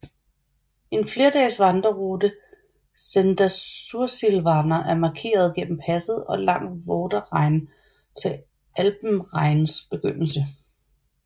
En flerdages vandrerute Senda Sursilvana er markeret gennem passet og langs Vorderrhein til Alpenrheins begyndelse